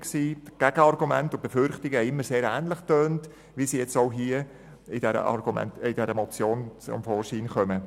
Die Gegenargumente und Befürchtungen tönten immer sehr ähnlich, wie sie jetzt auch hier zu dieser Motion zum Vorschein kommen.